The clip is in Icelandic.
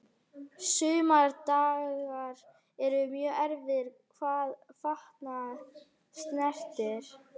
Sumir dagar eru mjög erfiðir hvað fatnað snertir.